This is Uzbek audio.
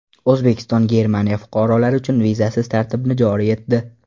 O‘zbekiston Germaniya fuqarolari uchun vizasiz tartibni joriy etdi.